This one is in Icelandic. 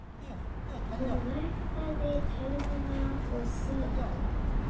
Hún vaktaði tölvuna og símann.